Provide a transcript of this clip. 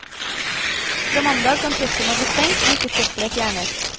Fra mandag kan kjøkkenet bli stengt om ikke søppelet fjernes.